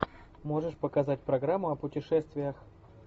можешь показать программу о путешествиях